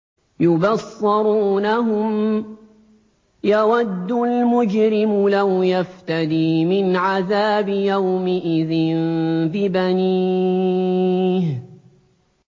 يُبَصَّرُونَهُمْ ۚ يَوَدُّ الْمُجْرِمُ لَوْ يَفْتَدِي مِنْ عَذَابِ يَوْمِئِذٍ بِبَنِيهِ